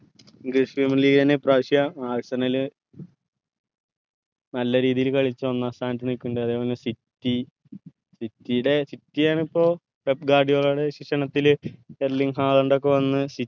English premier league എന്നെ ഇപ്പ്രാവശ്യം നല്ല രീതിൽ കളിച് ഒന്നാം സ്ഥാനത് നിക്കുന്നുണ്ട് അതെ പോലെന്നെ city city ടെ city ആണ് ഇപ്പൊ ക്ഷിഷണത്തിൽ വന്ന്